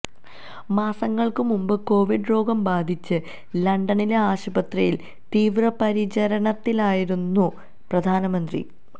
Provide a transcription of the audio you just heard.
മാസങ്ങള്ക്കു മുമ്പ് കോവിഡ് രോഗം ബാധിച്ച് ലണ്ടനിലെ ആശുപത്രിയില് തീവ്രപരിചരണത്തിലായിരുന്നു പ്രധാനമന്ത്രി